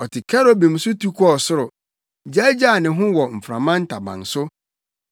Ɔte kerubim so tu kɔɔ soro; gyaagyaa ne ho wɔ mframa ntaban so.